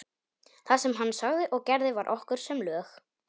Það sem hann sagði og gerði var okkur sem lög.